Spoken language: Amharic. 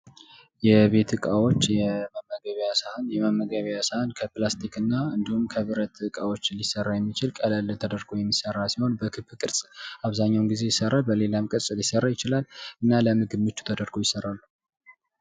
የቤት እቃዎች፦ የመመገቢያ ሳህን፦ የመመገቢያ ሳህን ከቤት ከላስቲክ እና እንዲሁም ከብረት እቃዎች ሊሰራ የሚችል ቀለል ተደርጎ የሚሰራ ስሆን በክብ ቅርጽ አብዛኛዉን ጊዜ ይሰራል። በሌላም ቅርጽ ሊሰራ ይችላል።